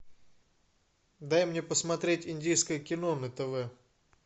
дай мне посмотреть индийское кино на тв